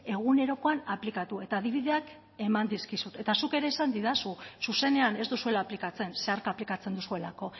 egunerokoan aplikatu eta adibideak eman dizkizut eta zuk ere esan didazu zuzenean ez duzuela aplikatzen zeharka aplikatzen duzuelako